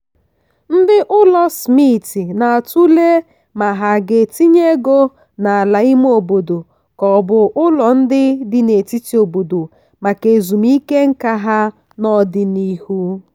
ndị ụlọ smith na-atụle ma ha ga-etinye ego n'ala ime obodo ka ọ bụ ụlọ ndị dị n'etiti obodo maka ezumike nká ha n'ọdịnihu.